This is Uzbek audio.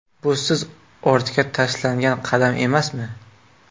Bu siz ortga tashlangan qadam emasmi?